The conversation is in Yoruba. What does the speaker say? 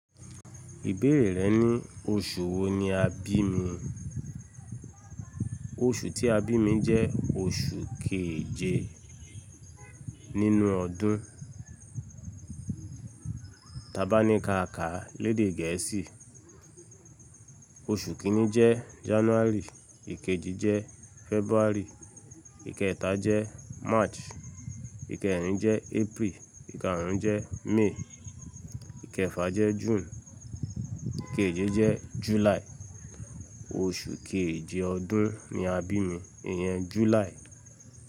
Ìbéèrè rẹ ní oṣù wo ni a bí mi? Oṣù tí a bí mi jẹ́ oṣù keje nínú ọdún. Taba ni ka kà lédè gẹ̀ẹ́sì. Oṣù kínní jẹ́ January, ìkejì jẹ February, ìkẹta jẹ March, ìkẹrin jẹ April, ìkarun jẹ May, ìkẹfà jẹ June, ìkéje jẹ July. Oṣù keje ọdún ni a bí mi, ìyẹn July.